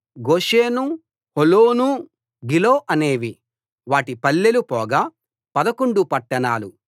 Goshen Holon Giloh అనేవి వాటి పల్లెలు పోగా పదకొండు పట్టణాలు